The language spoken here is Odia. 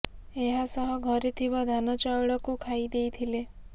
ଏହା ସହ ଘରେ ଥିବା ଧାନ ଚାଉଳ କୁ ଖାଇଦେଇଥିଲେ